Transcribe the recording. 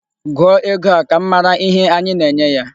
Gụọ ego a! Ka m mara ihe anyi na-enye ya.